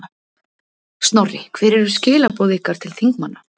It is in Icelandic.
Snorri, hver eru skilaboð ykkar til þingmanna?